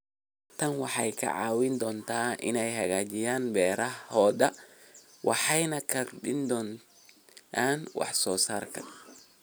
Tani waxay ka caawin doontaa inay hagaajiyaan beerahooda waxayna kordhiyaan wax soo saarka.